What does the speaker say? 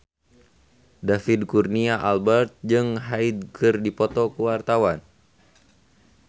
David Kurnia Albert jeung Hyde keur dipoto ku wartawan